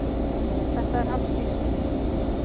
Þetta er hans lífsstíll